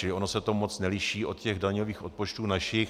Čili ono se to moc neliší od těch daňových odpočtů našich.